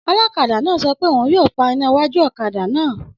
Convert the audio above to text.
Ọlọ́kadà náà sọ pé òun yóò pa iná iwájú ọ̀kadà náà